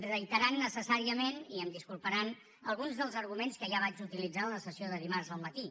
reiterant necessàriament i em disculparan alguns dels arguments que ja vaig utilitzar en la sessió de dimarts al matí